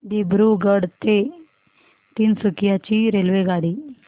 दिब्रुगढ ते तिनसुकिया ची रेल्वेगाडी